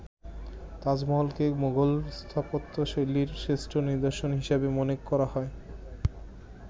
তাজমহলকে মোগল স্থাপত্যশৈলীর শ্রেষ্ঠ নিদর্শন হিসেবে মনে করা হয়।